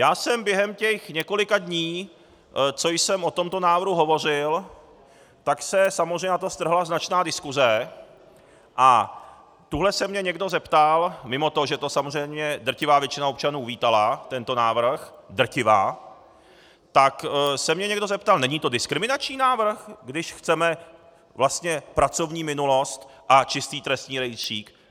Já jsem během těch několika dní, co jsem o tomto návrhu hovořil, tak se samozřejmě na to strhla značná diskuze a tuhle se mě někdo zeptal, mimo to, že to samozřejmě drtivá většina občanů uvítala tento návrh - drtivá - tak se mě někdo zeptal: Není to diskriminační návrh, když chceme vlastně pracovní minulost a čistý trestní rejstřík?